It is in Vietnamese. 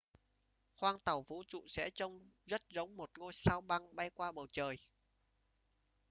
khoang tàu vũ trụ sẽ trông rất giống một ngôi sao băng bay qua bầu trời